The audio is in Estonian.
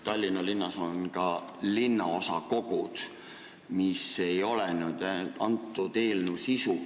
Tallinna linnas on ka linnaosakogud, mis ei ole küll selle eelnõu sisu.